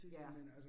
Ja